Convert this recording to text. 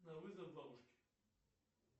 на вызов бабушки